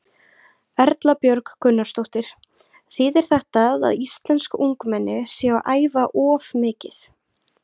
Erla Björg Gunnarsdóttir: Þýðir þetta að íslensk ungmenni séu að æfa of mikið?